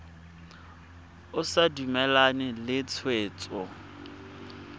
o sa dumalane le tshwetso